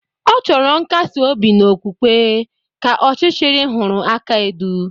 Ọ chọrọ nkasi-obi n'okwukwe, ka ọchichiri huru aka-edu.